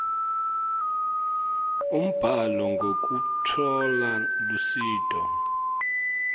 umbhalo ngekutfola lusito